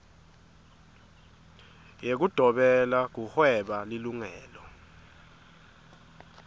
yekudobela kuhweba lilungelo